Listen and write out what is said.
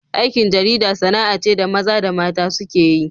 Aikin jarida sana'a ce da maza da mata suke yi.